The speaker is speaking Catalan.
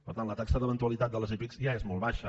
per tant la taxa d’eventualitat de les epic ja és molt baixa